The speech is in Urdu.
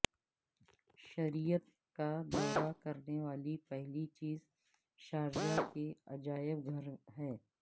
شریعت کا دورہ کرنے والی پہلی چیز شارجہ کے عجائب گھر ہیں